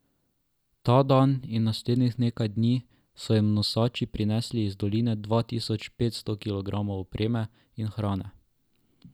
Ta dan in naslednjih nekaj dni so jim nosači prinesli iz doline dva tisoč pet sto kilogramov opreme in hrane.